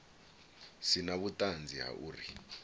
si na vhuṱanzi ha uri